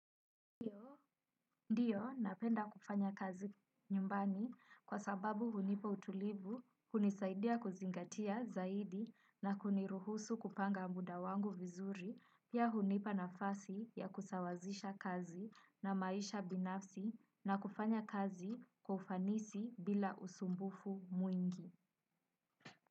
Ndiyo, napenda kufanya kazi nyumbani kwa sababu hunipa utulivu, kunisaidia kuzingatia zaidi na kuniruhusu kupanga muda wangu vizuri, pia hunipa nafasi ya kusawazisha kazi na maisha binafsi na kufanya kazi kwa ufanisi bila usumbufu mwingi.